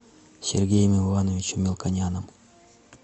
сергеем ивановичем мелконяном